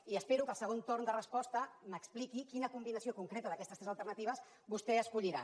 i espero que al segon torn de resposta m’expliqui quina combinació concreta d’aquestes tres alternatives vostè escollirà